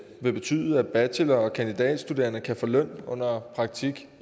vil betyde at bachelor og kandidatstuderende kan få løn under praktik